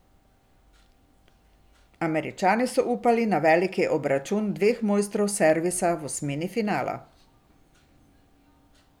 Američani so upali veliki obračun dveh mojstrov servisa v osmini finala.